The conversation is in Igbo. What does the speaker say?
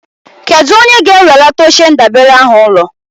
Kedụ onye ga-ewelata oche ndabere ahụ ụlọ?